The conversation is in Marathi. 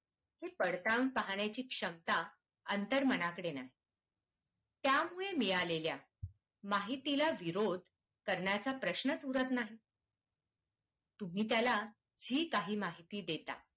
हे पडताळून पाहण्या ची क्षमता अंतर्मनाकडे नाही त्यामुळे मिळालेल् या माहितीला विरोध करण्याचा प्रश्नच उरत नाही.